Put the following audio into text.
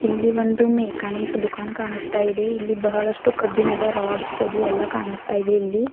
ಇಲ್ಲಿ ಒಂದು ಮೆಕಾನಿಕ್ ದುಕಾನ್ ಕಾಣಿಸ್ತಾ ಇದೆ ಇಲ್ಲಿ ಬಹಳಷ್ಟು ಕಬ್ಬಿಣದ ರಾಡ್ಸ್ ಅದು ಎಲ್ಲಾ ಕಾಣಸ್ತಾ ಇವೆ ಇಲ್ಲಿ.